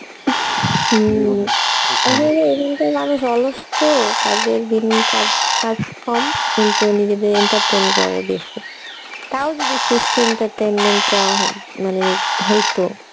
হম আসলে এখানকার মানুষ অলস তো কাজের বিন কাজ কাজ কম কিন্তু নিজেদের entertain করে বেশী তাও যদি সুস্থ entertainment টা হো মানে হইতো